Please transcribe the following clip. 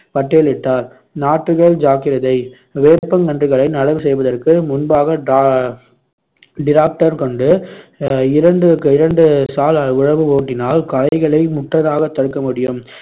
பட்டியலிட்டார் நாற்றுகள் ஜாக்கிரதை வேப்பங்கன்றுகளை நடவு செய்வதற்கு முன்பாக டா~ tractor கொண்டு இரண்டு இரண்டு சால் உழவு ஓட்டினால் களைகளை தடுக்கமுடியும்.